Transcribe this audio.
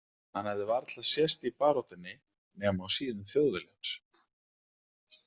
Hann hafði varla sést í baráttunni, nema á síðum Þjóðviljans.